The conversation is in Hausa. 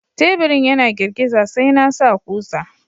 Taburin yana girgiza, sai na sa kusa.